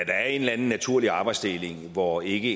er en eller anden naturlig arbejdsdeling hvor ikke